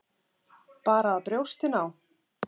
Bara að brjóstin á